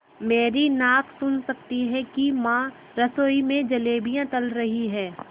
मेरी नाक सुन सकती है कि माँ रसोई में जलेबियाँ तल रही हैं